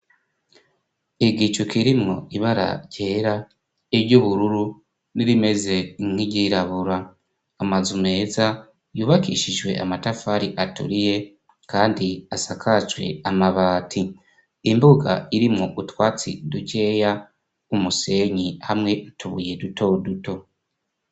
Igicu kirimwo ibara ryera, iry'ubururu n'irimeze ink'iryirabura amazu meza yubakishijwe amatafari aturiye kandi asakajwe amabati. Imbuga irimwo utwatsi dukeya, umusenyi hamwe n'utubuye duto duto.